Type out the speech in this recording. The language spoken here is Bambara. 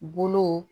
Bolo